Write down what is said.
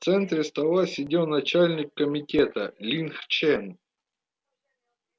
в центре стола сидел начальник комитета линг чен